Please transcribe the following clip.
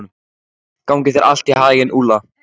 Gangi þér allt í haginn, Úlla.